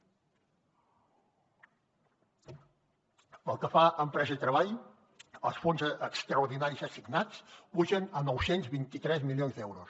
pel que fa a empresa i treball els fons extraordinaris assignats pugen a nou cents i vint tres milions d’euros